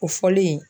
O fɔlen